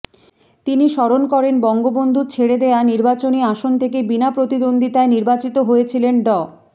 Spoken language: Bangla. তিনি স্মরণ করেন বঙ্গবন্ধুর ছেড়ে দেয়া নির্বাচনী আসন থেকে বিনা প্রতিদ্বন্দ্বিতায় নির্বাচিত হয়েছিলেন ড